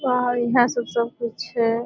और इहा सब सब कुछ छै।